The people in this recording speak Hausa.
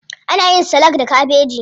Ana yin salak da kabeji.